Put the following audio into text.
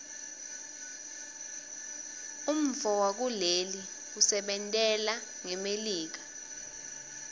umntfowakuleli usebentelana ngmelika